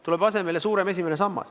Tuleb asemele suurem esimene sammas.